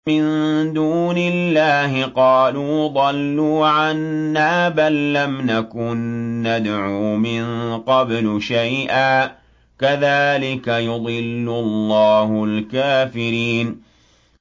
مِن دُونِ اللَّهِ ۖ قَالُوا ضَلُّوا عَنَّا بَل لَّمْ نَكُن نَّدْعُو مِن قَبْلُ شَيْئًا ۚ كَذَٰلِكَ يُضِلُّ اللَّهُ الْكَافِرِينَ